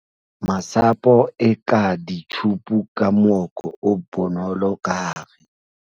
Masapo eka ditjhupu ka mooko o bonolo ka hare.